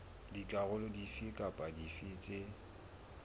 dikarolo dife kapa dife tse